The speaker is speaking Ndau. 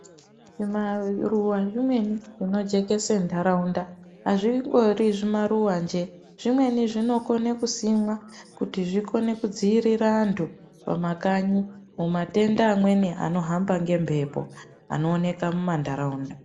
Zvimaruwa zvimweni zvinojekese ntaraunda, hazvingori zvimaruwa njee. Zvimweni zvinokone kusimwa kuti kuzvikone kudziirira antu pamakanyi mumatenda amweni anohamba ngembepo anooneka mumantaraunda.